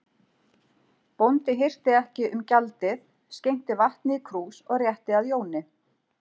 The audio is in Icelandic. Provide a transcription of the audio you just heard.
Bóndi hirti ekki um gjaldið, skenkti vatni í krús og rétti að Jóni.